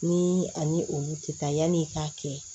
Ni ani olu tɛ taa yanni i k'a kɛ